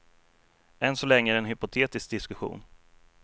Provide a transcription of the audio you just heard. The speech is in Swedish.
Än så länge är det en hypotetisk diskussion.